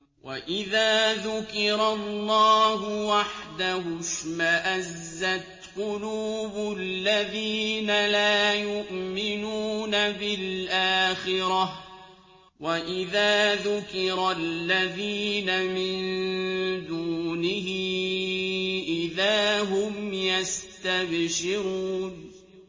وَإِذَا ذُكِرَ اللَّهُ وَحْدَهُ اشْمَأَزَّتْ قُلُوبُ الَّذِينَ لَا يُؤْمِنُونَ بِالْآخِرَةِ ۖ وَإِذَا ذُكِرَ الَّذِينَ مِن دُونِهِ إِذَا هُمْ يَسْتَبْشِرُونَ